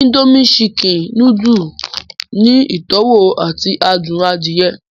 Indomie Chicken nùdù ni ìtọwo ati adun àdiẹ́